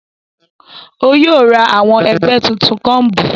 O yóò rá awon ẹgbẹ títún combu